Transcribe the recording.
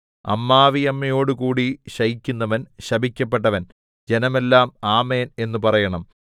അമ്മാവിയമ്മയോടുകൂടി ശയിക്കുന്നവൻ ശപിക്കപ്പെട്ടവൻ ജനമെല്ലാം ആമേൻ എന്നു പറയണം